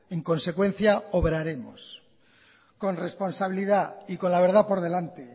en consecuencia obraremos con responsabilidad y con la verdad por delante